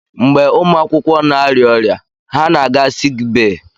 Mgbe ụmụ akwụkwọ na-arịa ọrịa, ha na-aga siik bee.